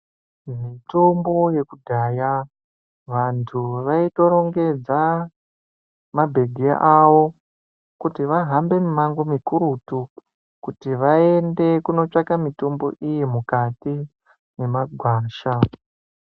Mitombo yekudhaya vantu vaitorongedza mabhegi avo kuti vahambe mumango mikurutu kuti vaende kunotsvaka mitombo iyi mukati memagwasha .